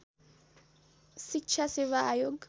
शिक्षा सेवा आयोग